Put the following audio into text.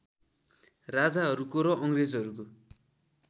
राजाहरूको र अङ्ग्रेजहरूको